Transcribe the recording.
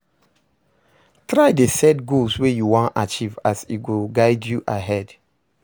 Try dey set goals wey you wan achieve as e go guide you ahead